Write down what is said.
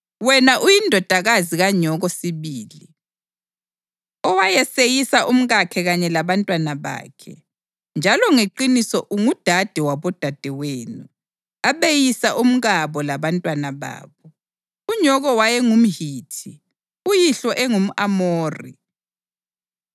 Wena uyindodakazi kanyoko sibili, owayeseyisa umkakhe kanye labantwana bakhe; njalo ngeqiniso ungudade wabodadewenu, abeyisa omkabo labantwana babo. Unyoko wayengumHithi uyihlo engumʼAmori.